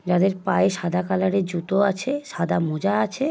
যাদের পায়ে সাদা কালারের জুতো আছে। সাদা মোজা আছে।